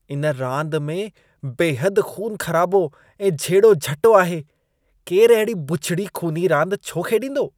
इन रांदि में बेहदि ख़ून ख़राबो ऐं झेड़ो-झटो आहे। केरु अहिड़ी बुछिड़ी ख़ूनी रांदि छो खेॾींदो?